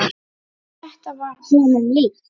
Þetta var honum líkt.